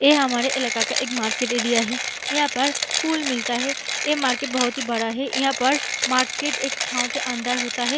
ए हमारे इलाका का एक एक मार्केट एरिया है यहां पर फूल मिलता है ए मार्केट बहुत ही बड़ा है यहां पर मार्केट एक छाव के अंदर होता है।